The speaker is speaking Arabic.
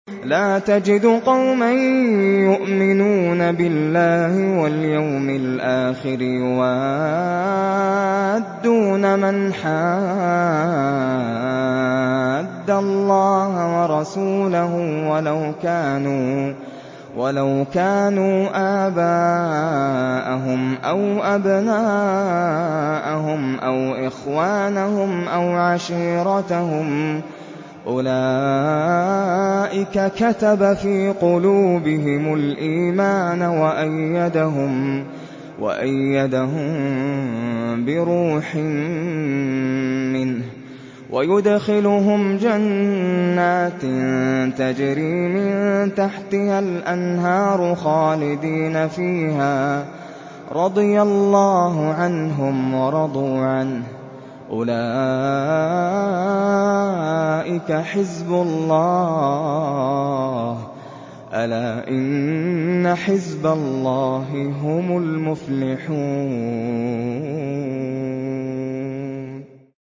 لَّا تَجِدُ قَوْمًا يُؤْمِنُونَ بِاللَّهِ وَالْيَوْمِ الْآخِرِ يُوَادُّونَ مَنْ حَادَّ اللَّهَ وَرَسُولَهُ وَلَوْ كَانُوا آبَاءَهُمْ أَوْ أَبْنَاءَهُمْ أَوْ إِخْوَانَهُمْ أَوْ عَشِيرَتَهُمْ ۚ أُولَٰئِكَ كَتَبَ فِي قُلُوبِهِمُ الْإِيمَانَ وَأَيَّدَهُم بِرُوحٍ مِّنْهُ ۖ وَيُدْخِلُهُمْ جَنَّاتٍ تَجْرِي مِن تَحْتِهَا الْأَنْهَارُ خَالِدِينَ فِيهَا ۚ رَضِيَ اللَّهُ عَنْهُمْ وَرَضُوا عَنْهُ ۚ أُولَٰئِكَ حِزْبُ اللَّهِ ۚ أَلَا إِنَّ حِزْبَ اللَّهِ هُمُ الْمُفْلِحُونَ